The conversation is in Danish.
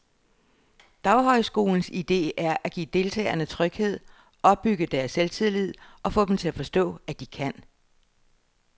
Daghøjskolens idé er at give deltagerne tryghed, opbygge deres selvtillid og få dem til at forstå, at de kan.